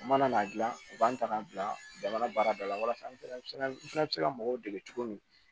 U mana n'a dilan u b'an ta k'an bila jamana baara da la walasa an fana u fana bɛ se ka mɔgɔw dɛmɛ cogo min